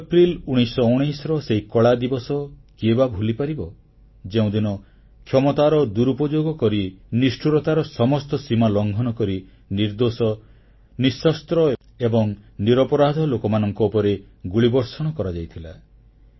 13 April 1919ର ସେହି କଳାଦିବସ କିଏ ବା ଭୁଲିପାରିବ ଯେଉଁଦିନ କ୍ଷମତାର ଦୁରୂପଯୋଗ କରି ନିଷ୍ଠୁରତାର ସମସ୍ତ ସୀମା ଲଂଘନ କରି ନିର୍ଦ୍ଦୋଷ ନିଃଶସ୍ତ୍ର ଏବଂ ନିରପରାଧ ଲୋକମାନଙ୍କ ଉପରେ ଗୁଳିବର୍ଷଣ କରାଯାଇଥିଲା